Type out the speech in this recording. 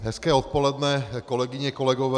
Hezké odpoledne, kolegyně, kolegové.